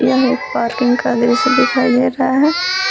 यह एक पार्किंग का दृश्य दिखाई दे रहा है।